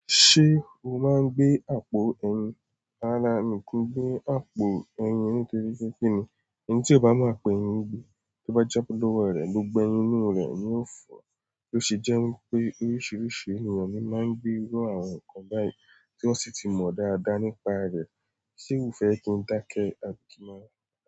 Ṣé o máa ń gbé àpò ẹyin? Rárá, mi ki gbé àpò ẹyin nítorí pé kí ni, ẹni tí ó bá máa pẹ ẹyin gbe tó bá jábọ lọ́wọ́ rẹ gbogbo ẹyin inú rẹ̀ ni ó fò ó ṣe jẹ́ wípé oríṣiríṣi ènìyàn ni máa ń gbé irú àwọn nǹkan báyìí tí wón sì ti mọ́ dáadáa nípa rẹ̀. Ṣé o fẹ́ kí n dá kẹ́ àbí kí n máa.